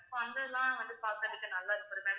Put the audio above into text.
so அந்த இதெல்லாம் வந்து பாக்குறதுக்கு நல்லா இருக்கும்